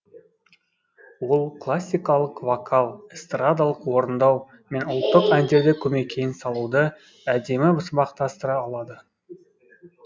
ол классикалық вокал эстрадалық орындау мен ұлттық әндерді көмекеймен салуды әдемі сабақтастыра алады